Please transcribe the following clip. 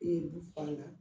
E du farala